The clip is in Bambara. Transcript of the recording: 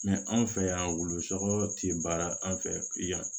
anw fɛ yan wulusɔgɔ ti baara an fɛ yan